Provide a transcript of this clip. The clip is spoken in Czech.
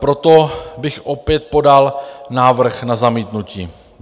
Proto bych opět podal návrh na zamítnutí.